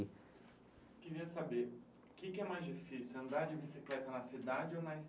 Queria saber, o quê que é mais difícil, andar de bicicleta na cidade ou na